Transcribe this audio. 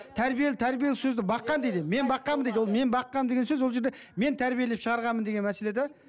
тәрбиелі тәрбие сөзді баққан дейді мен баққанмын дейді ол мен баққанмын деген сөз ол жерде мен тәрбиелеп шығарғанмын деген мәселе де